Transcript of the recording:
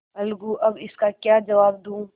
अलगूअब इसका क्या जवाब दूँ